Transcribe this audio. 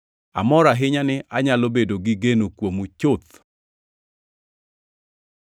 Amor ahinya ni anyalo bedo gi geno kuomu chuth.